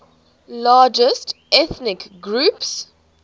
largest ethnic groups